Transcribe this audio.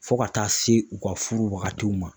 Fo ka taa se u ka furu wagatiw ma.